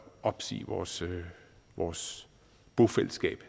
opsige vores vores bofællesskab